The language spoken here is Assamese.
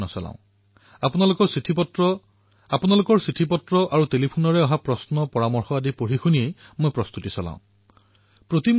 সেই পত্ৰখন তেতিয়া মোৰ বাবে কাগজৰ টুকুৰা হৈ নাথাকে আৰু এনেও মই প্ৰায় ৪০৪৫ বৰ্ষ এক পৰিব্ৰাজকৰ ৰূপত জীৱন অতিবাহিত কৰিছো আৰু দেশৰ বহু জিলালৈ গৈছো আৰু দেশৰ দূৰদুৰণিৰ জিলাত মই বহু সময় অতিবাহিত কৰিছো